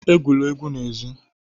Egwula egwu n'èzí!